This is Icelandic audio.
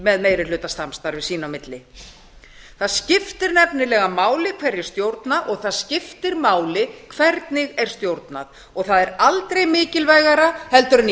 með meirihlutasamstarfi sín á milli það skiptir nefnilega máli hverjir stjórna og það skiptir máli hvernig er stjórnað og það er aldrei mikilvægara heldur en í